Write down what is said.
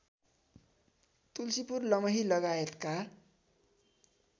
तुल्सीपुर लमही लगायतका